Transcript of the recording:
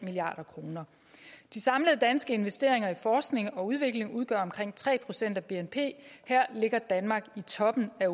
milliard kroner de samlede danske investeringer i forskning og udvikling udgør omkring tre procent af bnp her ligger danmark i toppen af